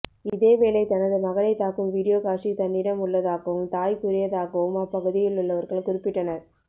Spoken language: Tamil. இதே வேளை தனது மகனை தாக்கும் வீடியோ காட்சி தன்னிடம் உள்ளதாகவும் தாய் கூறியதாகவும் அப்ப்குதியிலுள்ளவர்கள் குறிப்பிட்டனர்